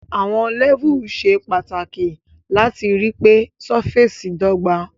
Àwon levels se pàtàkì láti ripé surface dọ́gba